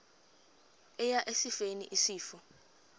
eya esifeni isifo